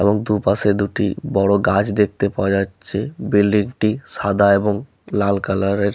এবং দুপাশে দুটি বড় গাছ দেখতে পাওয়া যাচ্ছে বিল্ডিং টি সাদা এবং লাল কালার এর।